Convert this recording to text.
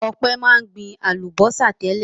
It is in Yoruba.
Ọpẹ́ máa ń gbin àlùbọ́sà tẹ́lẹ̀.